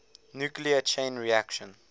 nuclear chain reaction